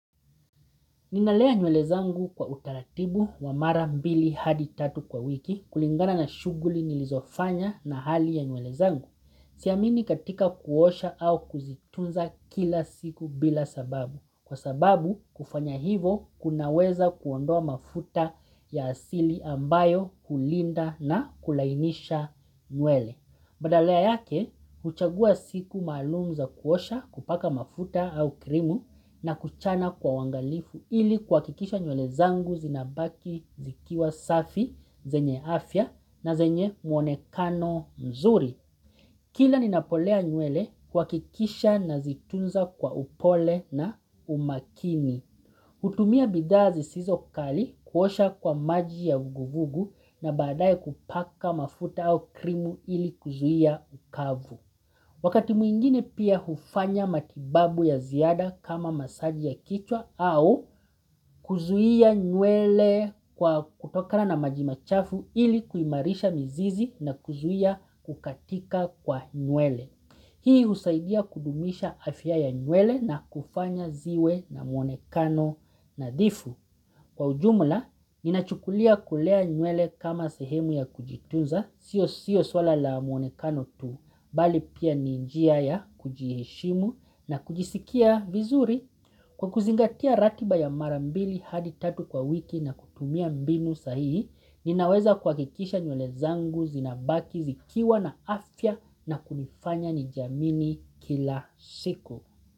Ninalea nywele zangu kwa utaratibu wa mara mbili hadi tatu kwa wiki kulingana na shughuli nilizofanya na hali ya nywele zangu. Siamini katika kuosha au kuzitunza kila siku bila sababu. Kwa sababu kufanya hivo kunaweza kuondoa mafuta ya asili ambayo hulinda na kulainisha nywele. Badala yake, huchagua siku maalum za kuosha kupaka mafuta au krimu na kuchana kwa uangalifu ili kuhakikisha nywele zangu zinabaki zikiwa safi, zenye afya na zenye muonekano mzuri. Kila ninapolea nywele uhakikisha nazitunza kwa upole na umakini. Hutumia bidhaa zisizo kali kuosha kwa maji ya vuguvugu na baadaye kupaka mafuta au krimu ili kuzuia ukavu. Wakati mwingine pia hufanya matibabu ya ziada kama masaji ya kichwa au kuzuia nywele kwa kutokana na maji machafu ili kuimarisha mizizi na kuzuia kukatika kwa nywele. Hii husaidia kudumisha afya ya nywele na kufanya ziwe na muonekano nadhifu Kwa ujumla, ninachukulia kulea nywele kama sehemu ya kujitunza Sio sio swala la muonekano tu, bali pia ni njia ya kujiheshimu na kujisikia vizuri Kwa kuzingatia ratiba ya mara mbili hadi tatu kwa wiki na kutumia mbinu sahihi Ninaweza kuhakikisha nywele zangu zinabaki zikiwa na afya na kunifanya nijiamini kila siku.